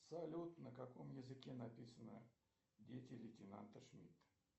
салют на каком языке написано дети лейтенанта шмидта